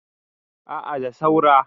a a da saura